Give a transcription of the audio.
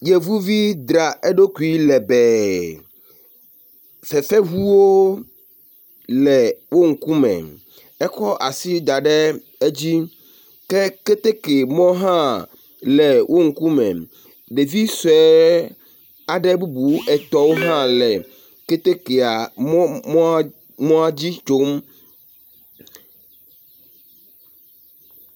Yevuvi dra aɖokui lebee fefeŋuwo le wo ŋkume, ekɔ asi da ɖe edzi ke keteke mɔ hã le wo ŋkume, Ɖevi sue aɖe bubu etɔ̃wo hã le ketekea mɔ…mɔa…mɔa dzi tsom.